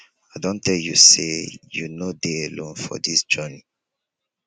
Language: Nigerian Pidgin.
i don tell you sey you no dey alone for dis journey.